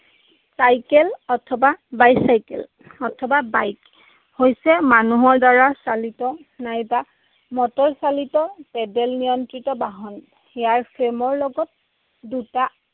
Cycle অথবা bicycle অথবা bike, হৈছে মানুহৰ দ্বাৰা চালিত নাইবা মটৰচালিত paddle নিয়ন্ত্ৰিত বাহন। ইয়াৰ frame ৰ লগত দুটা